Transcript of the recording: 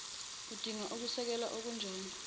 udinga ukusekelwa okunjani